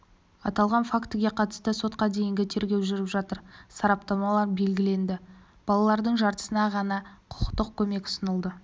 аталған фактіге қатысты сотқа дейінгі тергеу жүріп жатыр сараптамалар белгіленді балалардың жартысына ғана құқықтық көмек ұсынылды